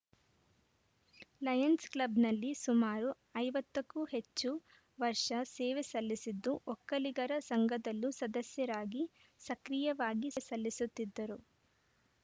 Lions ಕ್ಲಬ್‌ನಲ್ಲಿ ಸುಮಾರು ಐವತ್ತ ಕ್ಕೂ ಹೆಚ್ಚು ವರ್ಷ ಸೇವೆ ಸಲ್ಲಿಸಿದ್ದು ಒಕ್ಕಲಿಗರ ಸಂಘದಲ್ಲೂ ಸದಸ್ಯರಾಗಿ ಸಕ್ರಿಯವಾಗಿ ಸಲ್ಲಿಸುತ್ತಿದ್ದರು